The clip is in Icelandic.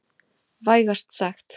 Vægast sagt.